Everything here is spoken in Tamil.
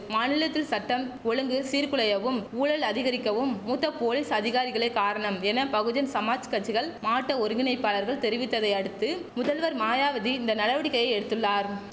மாநிலத்தில் சட்டம் ஒழுங்கு சீர் குலையவும் ஊழல் அதிகரிக்கவும் மூத்த போலீஸ் அதிகாரிகளே காரணம் என பகுஜன் சமாஜ் கச்சிகள் மாட்ட ஒருங்கிணைப்பாளர்கள் தெரிவித்ததை அடுத்து முதல்வர் மாயாவதி இந்த நடவடிக்கையை எடுத்துள்ளார்